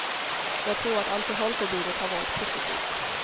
Jag tror att alkoholförbudet har varit positivt.